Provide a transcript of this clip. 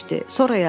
Sonra yatdı.